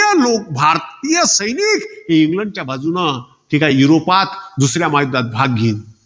भारतीय लोक, भारतीय सैनिक हे इंग्लंडच्या बाजूनं. ते काय युरोपात दुसऱ्या महायुद्धात भाग घेईन.